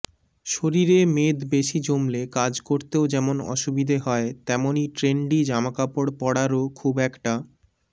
শরীরে মেদ বেশি জমলে কাজ করতেও যেমন অসুবিধা হয় তেমনই ট্রেন্ডি জামাকাপড় পড়ারও খুব একটা